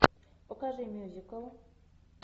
покажи мюзикл